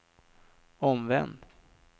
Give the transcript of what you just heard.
omvänd